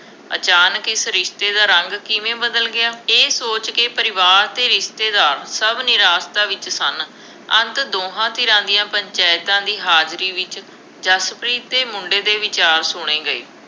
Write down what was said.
ਅਚਾਨਕ ਇਸ ਰਿਸ਼ਤੇ ਦਾ ਰੰਗ ਕਿਵੇਂ ਬਦਲ ਗਿਆ, ਇਹ ਸੋਚਕੇ ਪਰਿਵਾਰ ਅਤੇ ਰਿਸ਼ਤੇਦਾਰ ਸਭ ਨਿਰਾਸ਼ਤਾ ਵਿੱਚ ਸਨ। ਅੰਤ ਦੋਹਾਂ ਧਿਰਾਂ ਦੀਆ ਪੰਚਾਇਤਾਂ ਦੀ ਹਾਜ਼ਰੀ ਵਿੱਚ ਜਸਪ੍ਰੀਤ ਅਤੇ ਮੁੰਡੇ ਦੇ ਵਿਚਾਰ ਸੁਣੇ ਗਏ।